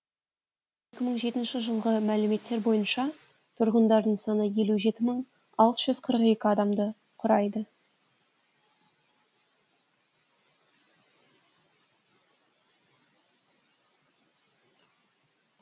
екі мың жетінші жылғы мәліметтер бойынша тұрғындарының саны елу жеті мың алты жүз қырық екі адамды құрайды